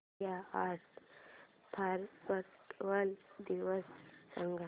India art festival दिवस सांग